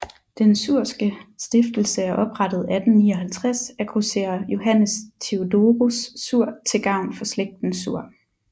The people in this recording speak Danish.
Den Suhrske Stiftelse er oprettet 1859 af grosserer Johannes Theodorus Suhr til gavn for slægten Suhr